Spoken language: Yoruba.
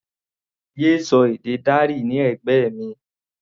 Yé sọ èdè Dari ní ẹ̀gbẹ́ mi!